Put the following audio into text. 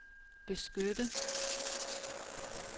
beskytte